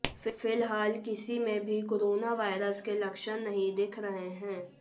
फिलहाल किसी में भी कोरोना वायरस के लक्षण नहीं दिख रहे हैं